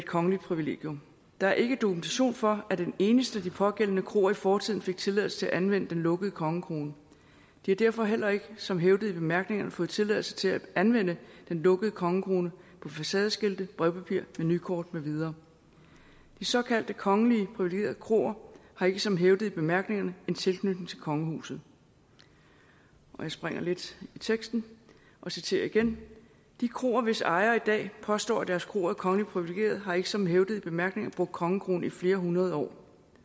kongeligt privilegium der er ikke dokumentation for at en eneste af de pågældende kroer i fortiden fik tilladelse til at anvende den lukkede kongekrone de har derfor heller ikke som hævdet i bemærkningerne fået tilladelse til at anvende den lukkede kongekrone på facadeskilte brevpapir menukort med videre de såkaldte kongeligt privilegerede kroer har ikke som hævdet i bemærkningerne en tilknytning til kongehuset jeg springer lidt i teksten og citerer igen de kroer hvis ejere i dag påstår at deres kroer er kongeligt privilegerede har ikke som hævdet i bemærkningerne brugt kongekronen i flere hundrede år